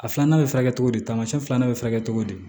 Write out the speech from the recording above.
A filanan bɛ furakɛ cogo di tamasiyɛn filanan bɛ furakɛ cogo di